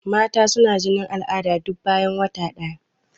Mata suna jinin al'ada duk bayan wata ɗaya.